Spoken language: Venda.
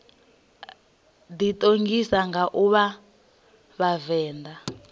ḓiṱongisa nga u vha vhavenḓa